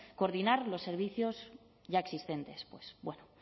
coordinar los servicios ya existentes pues bueno